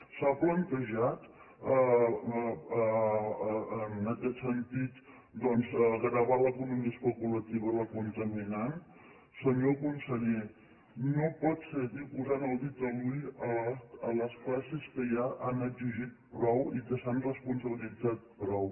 s’ha plantejat en aquest sentit doncs gravar l’economia especulativa i la contaminant senyor conseller no pot seguir posant el dit a l’ull a les classes a les quals ja han exigit prou i que s’han responsabilitzat prou